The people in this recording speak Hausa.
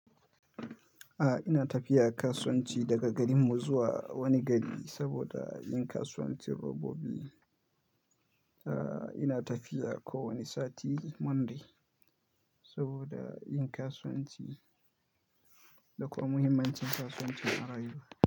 A'a ina tafiya kasuwanci daga garinmu zuwa wani gari saboda yin kasuwancin robobi. A'a ina tafiya kowane sati Monday saboda yin kasuwanci da kuma muhimmancin kasuwanci a rayuwa.